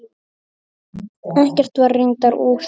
Ekkert var reyndar úr því.